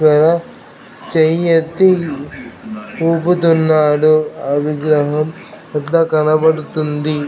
ఇక్కడ చెయ్యెత్తి ఉపుతున్నాడు అది ఇక్కడ కనబడుతుంది.